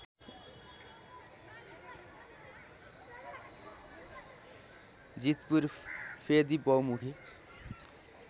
जीतपुर फेदी बहुमुखी